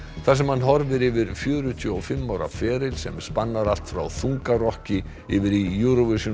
þar sem hann horfir yfir fjörutíu og fimm ára feril sem spannar allt frá þungarokki yfir í Eurovision